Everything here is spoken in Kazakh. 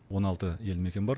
он алты елді мекен бар